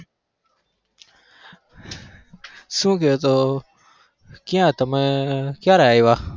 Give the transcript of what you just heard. શું કહેતો? ક્યાં તમે ક્યારે આયવા?